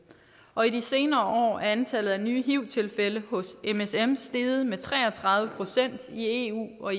og i de senere år er antallet nye hiv tilfælde hos msm steget med tre og tredive procent i eu og